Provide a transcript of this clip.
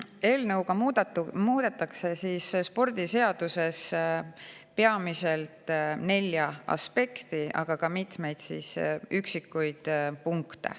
Eelnõuga muudetakse spordiseaduses peamiselt nelja aspekti, aga ka mitmeid üksikuid punkte.